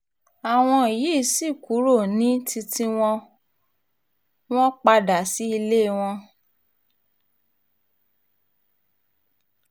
àwọn yìí sì kúrò ní títì wọ́n padà sí ilé wọn